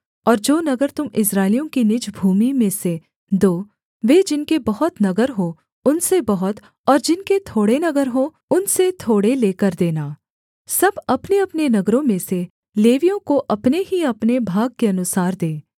और जो नगर तुम इस्राएलियों की निज भूमि में से दो वे जिनके बहुत नगर हों उनसे बहुत और जिनके थोड़े नगर हों उनसे थोड़े लेकर देना सब अपनेअपने नगरों में से लेवियों को अपने ही अपने भाग के अनुसार दें